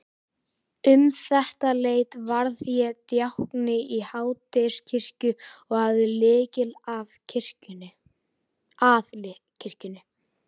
Um þetta leyti varð ég djákni í Háteigskirkju og hafði lykil að kirkjunni.